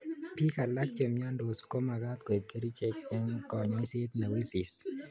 Bik alak che mnyondus komakat koib kerchek eng konyoiset ne wisis